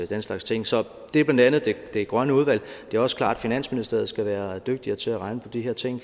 den slags ting så det er blandt andet i det grønne udvalg det er også klart at finansministeriet skal være dygtigere til at regne på de her ting